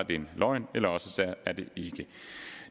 det en løgn eller også er det ikke